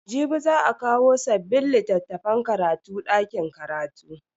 Jibi za a kawo sabbin littafan karatu dakin karatu.